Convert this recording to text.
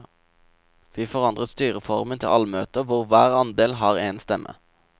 Vi forandret styreformen til allmøter hvor hver andel har én stemme.